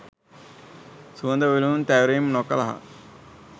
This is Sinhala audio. සුවඳ විලවුන් තැවරීම් නොකළහ.